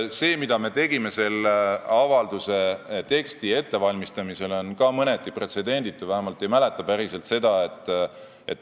See, mida me tegime selle avalduse teksti ettevalmistamisel, on ka mõneti pretsedenditu, ma vähemalt päris sellist asja ei mäleta.